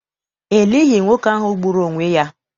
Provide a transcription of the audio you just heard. E lighị nwoke ahụ gburu onwe ya.